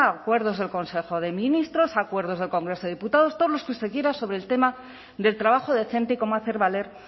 acuerdos del consejo de ministros acuerdos del congreso de diputados todos los que usted quiera sobre el tema del trabajo decente y cómo hacer valer